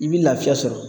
I bi lafiya sɔrɔ